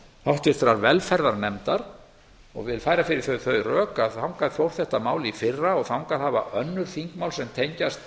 háttvirtrar velferðarnefndar og vil færa fyrir því þau rök að þangað fór þetta mál í fyrra og þangað hafa önnur þingmál sem tengjast